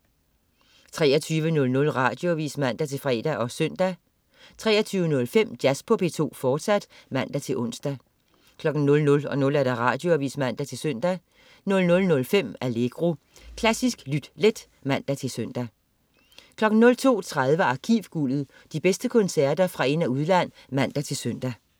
23.00 Radioavis (man-fre og søn) 23.05 Jazz på P2, fortsat (man-ons) 00.00 Radioavis (man-søn) 00.05 Allegro. Klassisk lyt let (man-søn) 02.30 Arkivguldet. De bedste koncerter fra ind- og udland (man-søn)